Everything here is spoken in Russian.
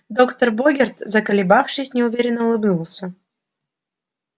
доктор богерт заколебавшись неуверенно улыбнулся